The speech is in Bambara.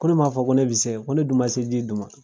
Ko ne ma fɔ ko ne be se, ko ne dun ma se ji dun ma.